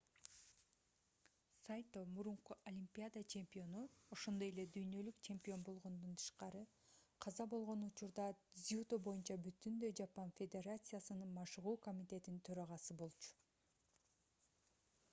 сайто мурунку олимпиада чемпиону ошондой эле дүйнөлүк чемпион болгондон тышкары каза болгон учурда дзюдо боюнча бүтүндөй жапон федерациясынын машыгуу комитетинин төрагасы болчу